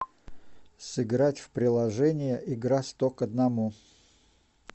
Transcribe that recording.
сыграть в приложение игра сто к одному